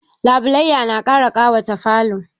Labulaiya na ƙara ƙawata falo.